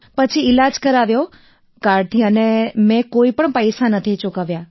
પછી ઈલાજ કરાવ્યો કાર્ડથી અને મેં કોઈપણ પૈસા નથી ચૂકવ્યા